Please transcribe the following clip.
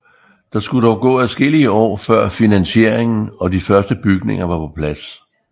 Der skulle dog gå adskillige år før finansieringen og de første bygninger var på plads